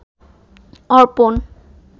অর্পণ